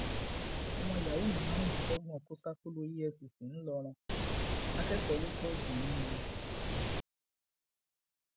ọmọ yahoo márùndínlọgbọn kò ṣàkóló efcc ńlọrọn akẹ́kọ̀ọ́ ló pọ nínú wọn